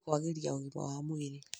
harĩ kwagĩria ũgima wa mwĩrĩ